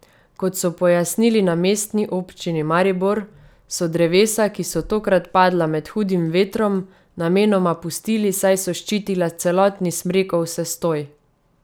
Kot so pojasnili na Mestni občini Maribor, so drevesa, ki so tokrat padla med hudim vetrom, namenoma pustili, saj so ščitila celotni smrekov sestoj.